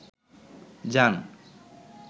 জান